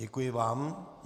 Děkuji vám.